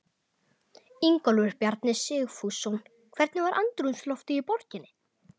Ingólfur Bjarni Sigfússon: Hvernig var andrúmsloftið í borginni?